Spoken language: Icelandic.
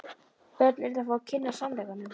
Börn yrðu að fá að kynnast sannleikanum.